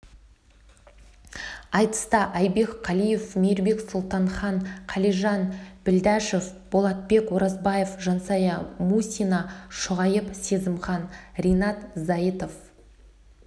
айтыста айбек қалиев мейірбек сұлтанхан қалижан білдәшев болатбек оразбаев жансая мусина шұғайып сезімхан ринат зайытов